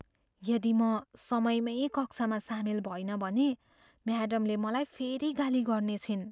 यदि म समयमै कक्षामा सामेल भइनँ भने, म्याडमले मलाई फेरि गाली गर्नेछिन्।